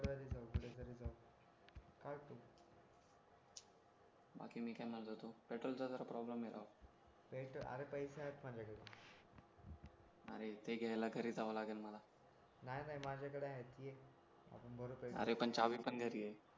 बाकी मी काय माझा पेट्रोलचा जरा प्रॉब्लेम आहे राव पेट्रोल अरे पैसे आहेत माझ्याकडे आणि ते घ्यायला घरी जावं लागेल मला नाही नाही माझ्याकडे आहे ये आपण भरून अरे पण चावी पण घरी ये